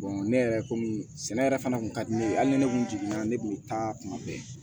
ne yɛrɛ komi sɛnɛ yɛrɛ fana kun ka di ne ye hali ni ne kun jiginna ne kun bɛ taa kuma bɛɛ